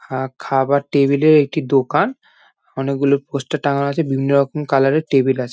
অ্যা-অ্যা খাবার টেবিল এর একটি দোকান অনেক গুলো পোস্টার টাঙানো আছে। বিভিন্ন রকম কালার এর টেবিল আছে।